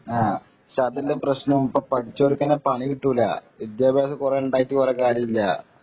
ഇപ്പൊ അതിന്റെ പ്രശ്നം ഇപ്പൊ പഠിച്ചവര്‍ക്ക് തന്നെ പണി കിട്ടൂല വിദ്യാഭ്യാസം കുറെ ഉണ്ടായിട്ട് കുറെ കാര്യമില്ല